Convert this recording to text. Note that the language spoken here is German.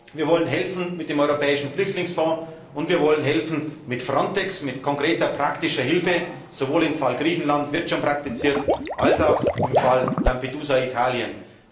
Wir wollen helfen, mit dem europäischen Flüchtlingsfonds und mit Frontex, mit konkreter praktischer Hilfe, sowohl im Fall Griechenland dort wird es schon praktiziert als auch im Fall Lampedusa Italien.